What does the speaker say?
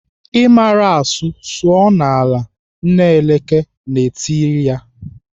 "I mara asụ sụọ n'ala!" Nna Eleke na-etiri ya.